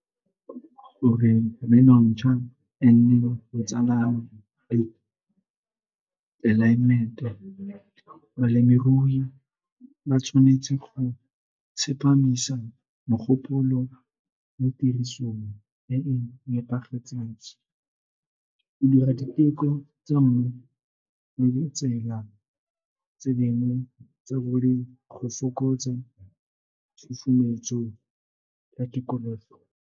Gore e nne botsalano, tlelaemete. Balemirui ba tshwanetse go tsepamisa mogopolo mo tirisong e e nepagetseng go dira diteko tsa mmu le ditsela tse dingwe tsa go fokotse tshosometso ya tikologo.